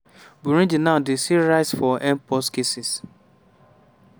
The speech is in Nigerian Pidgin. burundi now dey see rise for mpox cases.